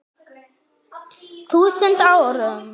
þúsund árum.